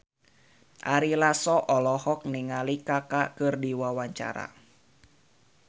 Ari Lasso olohok ningali Kaka keur diwawancara